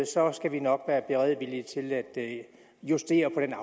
så skal vi nok være villige til at justere på den